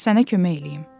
Sənə kömək eləyim.